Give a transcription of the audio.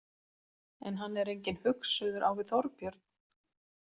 En hann er enginn hugsuður á við Þorbjörn.